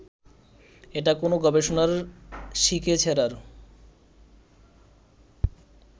এটা কোনো গবেষণার শিকে ছেঁড়ার